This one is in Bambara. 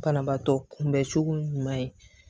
Banabaatɔ kunbɛncogo ɲuman ye